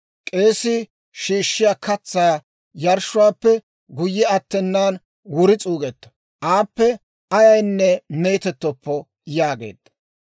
K'eesii shiishshiyaa katsaa yarshshuwaappe guyye attenaan wuri s'uugetto; aappe ayaynne meetettoppo» yaageedda.